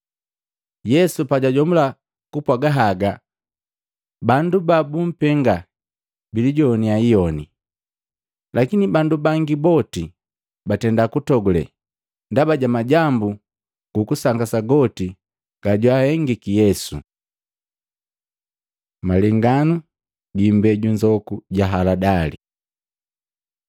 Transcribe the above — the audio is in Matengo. Yesu pajajomula kupwaga haga, bandu babumpenga bilijogwanya iyoni, lakini bandu bangi boti batenda kutogule ndaba ja majambu gu kusangasa goti gajwahengiki Yesu. Malenganu gi imbeju nzoku ja haladali Matei 13:31-32; Maluko 4:30-32